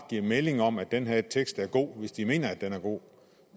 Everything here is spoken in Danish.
give melding om at den her tekst var god hvis de mente at den var god